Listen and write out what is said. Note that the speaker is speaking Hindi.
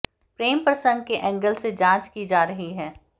प्रेम प्रसंग के एंगल से जांच की जा रही है